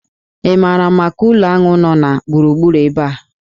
Ị maara maka ụlọ aṅụ nọ na gburugburu ebe a?